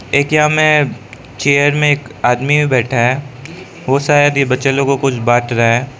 टेकीया में चेयर में एक आदमी बैठा है वो शायद ये बच्चे लोगों को कुछ बांट रहा है।